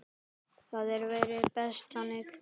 Það væri best þannig.